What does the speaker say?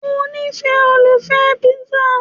Mo nifẹ́ olùfẹ́ píṣà